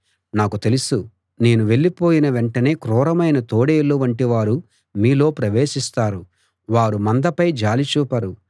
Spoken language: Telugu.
నాకు తెలుసు నేను వెళ్ళిపోయిన వెంటనే క్రూరమైన తోడేళ్ళు వంటివారు మీలో ప్రవేశిస్తారు వారు మందపై జాలి చూపరు